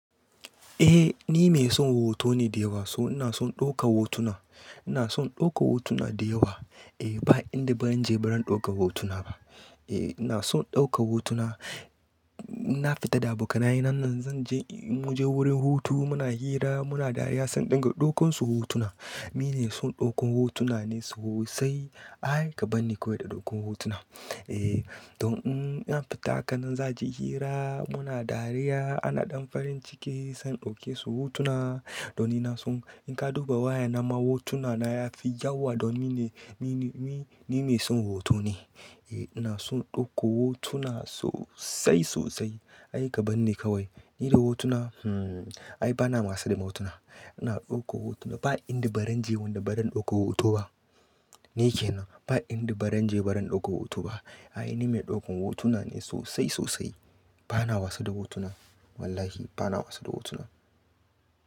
Eh ni mai son hoto ne da yawa, so ina son ɗauka hotuna. Ina son ɗauka hotuna da yawa. Eh ba inda ba zan je ba zan ɗauka hotuna ba. Eh ina son ɗauka hotuna. Na fita da abokanaye nan zan je, mun je wurin hutu muna hira muna dariya san in ɗinga ɗaukan su hotuna. Ni me son ɗaukan hotuna ne sosai. Ai ka banni kawai da ɗaukan hotuna. Eh don in na fita haka nan za ji hira muna dariya ana ɗan farin ciki se in ɗauke su hotuna. Don ina son in ka duba waya na ma hotuna na yafi yawa don ni ne, ni ne, ni, ni mai son hoto ne. Eh ina son ɗauko hotuna sosai sosai. Ai ka bani kawai. Ni da hotuna hmm ai ba na wasa da ma hotuna. Ina dauko hotuna. Ba inda baranje wanda baran ɗauka hoto ba. Ni ke na. Ba inda baran je baran ɗauka hoto ba. Ai ni mai ɗaukan hotuna ne sosai sosai. Ba na wasu da hotuna. Wallahi ba na wasu da hotuna.